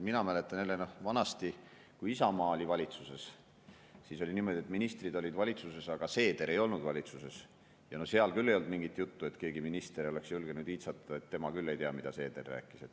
Mina mäletan jälle, et vanasti, kui Isamaa oli valitsuses, siis oli niimoodi, et ministrid olid valitsuses, aga Seeder ei olnud valitsuses, ja no seal küll ei olnud mingit juttu, et keegi minister oleks julgenud iitsatada, et tema küll ei tea, mida Seeder rääkis.